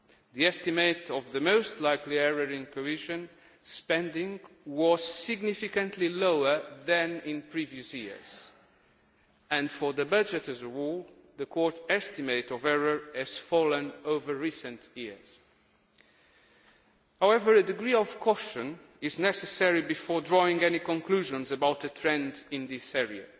The estimate for the most likely error in cohesion spending was significantly lower than in previous years, and for the budget as a whole, the Court's estimate of errors has fallen over recent years. However, a degree of caution is necessary before drawing any conclusions about the trend in this area